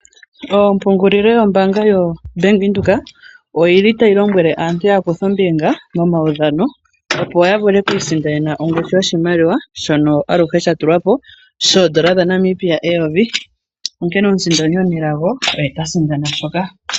Oompungulilo yombaanga yoBank Windhoek oyi li tayi lombwele aantu ya kuthe ombinga momaudhano, opo ya vule oku isindanena ongushu yoshimaliwa shono aluhe sha tulwa po shoo N$ 1000, onkene omusindani omunelago oye ta sindana mpaka.